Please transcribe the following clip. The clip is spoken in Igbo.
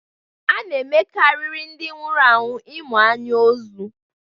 A na -emekarịrị ndị nwụrụ anwụ ịmụ anya ozu.